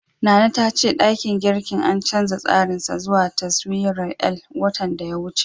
Nana ta ce ɗakin girkin an canja tsarin sa zuwa taswirar L, watan da ya wuce.